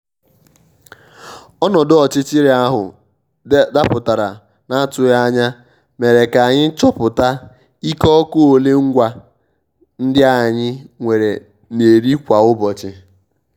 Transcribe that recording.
ọ́nọ́dụ́ ọ́chịchịrị áhụ́ dàpụ́tàrá n’àtụghí ányá mèré ká ànyị́ chọ́pụ́tá íké ọ́kụ́ ólé ngwá ndí ànyị́ nwèré n’érí kwá ụ́bọchị́.